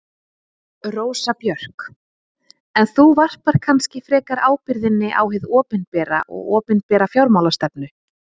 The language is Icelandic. Rósa Björk: En þú varpar kannski frekar ábyrgðinni á hið opinbera og opinbera fjármálastefnu?